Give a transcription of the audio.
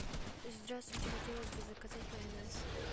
здравствуйте хотелось бы заказать майонез